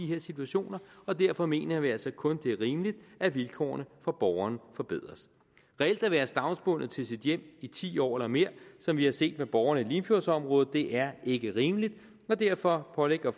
her situationer og derfor mener vi altså kun det er rimeligt at vilkårene for borgeren forbedres reelt at være stavnsbundet til sit hjem i ti år eller mere som vi har set med borgerne i limfjordsområdet er ikke rimeligt og derfor pålægger